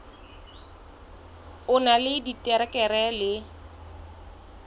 o na le diterekere le